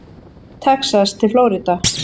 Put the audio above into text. Texas til Flórída.